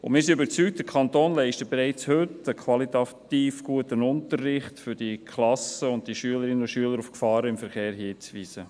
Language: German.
Wir sind überzeugt, dass der Kanton bereits heute einen qualitativ guten Unterricht leistet, um die Klassen und Schülerinnen und Schüler auf die Gefahren im Verkehr hinzuweisen.